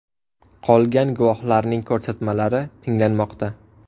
Qolgan guvohlarning ko‘rsatmalari tinglanmoqda.